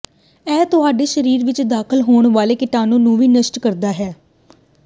ਇਹ ਤੁਹਾਡੇ ਸਰੀਰ ਵਿੱਚ ਦਾਖ਼ਲ ਹੋਣ ਵਾਲੇ ਕੀਟਾਣੂ ਨੂੰ ਵੀ ਨਸ਼ਟ ਕਰਦਾ ਹੈ